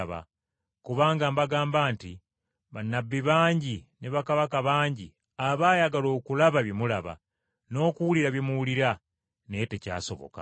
Kubanga mbagamba nti, bannabbi bangi ne bakabaka bangi abaayagala okulaba bye mulaba n’okuwulira bye muwulira naye tekyasoboka.”